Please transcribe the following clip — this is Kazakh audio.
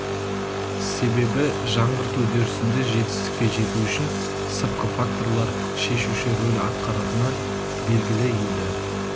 себебі жаңғырту үдерісінде жетістікке жету үшін сыртқы факторлар шешуші рөл атқаратыны белгілі еді